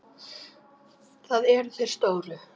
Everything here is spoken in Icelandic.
Það eru þeir stóru.